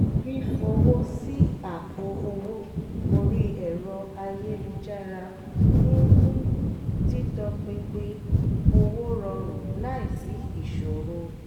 fífowó sí àpò owó orí ẹ̀rọ ayélujára ń mú títọ́pinpin owó rọrùn láìsí ìṣòro